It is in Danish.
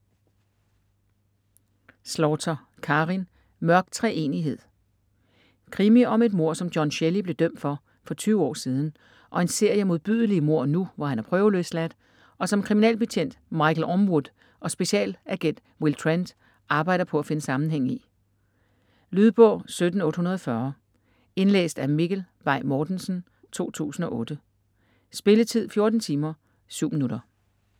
Slaughter, Karin: Mørk treenighed Krimi om et mord, som John Shelley blev dømt for for 20 år siden, og en serie modbydelige mord nu, hvor han er prøveløsladt, og som kriminalbetjent Michael Ormewood og specialagent Will Trent arbejder på at finde sammenhæng i. Lydbog 17840 Indlæst af Mikkel Bay Mortensen, 2008. Spilletid: 14 timer, 7 minutter.